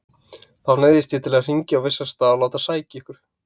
Þá neyðist ég til að hringja á vissan stað og láta sækja ykkur.